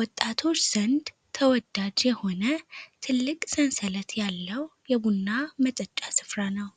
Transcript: ወጣቶች ዘንድ ተወዳጅ የሆነ ትልቅ ሰንሰለት ያለው የቡና መጠጫ ስፍራ ነው